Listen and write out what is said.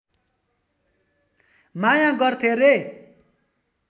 माया गर्थे रे